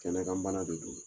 Kɛnɛ kan bana de don